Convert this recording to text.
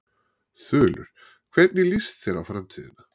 Þulur: Hvernig líst þér á framtíðina?